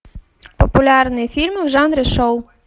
популярные фильмы в жанре шоу